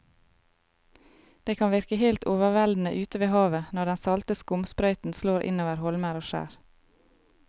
Det kan virke helt overveldende ute ved havet når den salte skumsprøyten slår innover holmer og skjær.